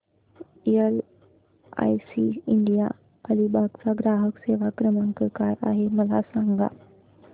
LIC India Alibag चा ग्राहक सेवा क्रमांक काय आहे मला सांगा